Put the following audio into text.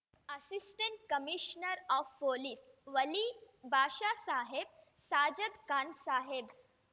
assistant commissioner of police Wali Bhashasaheb Sajadkhan Saheb